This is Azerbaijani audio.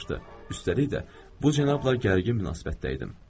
Üstəlik də bu cənabla gərgin münasibətdə idim.